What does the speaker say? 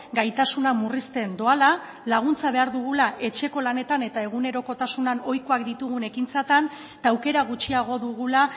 gaitasuna murrizten doala laguntza behar dugula etxeko lanetan eta egunerokotasunean ohikoak ditugun ekintzetan eta aukera gutxiago dugula